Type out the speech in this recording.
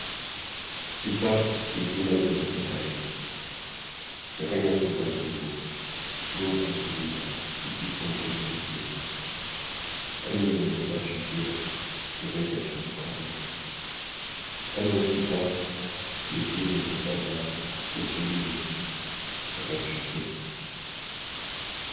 Chikafu chiri kunakidza kutarisa. Chakanyatsogadzirwa ndokuburwa chichiiswa mupureti chena. Pane nyama yakatsvukira yakaita zvokukangwa. Panewo chikafu chezvinhu zvakabva muzvirimwa chakatsvukira.